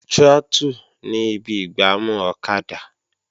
Trọ́tù ni ibi ìgbámú ọ̀kadà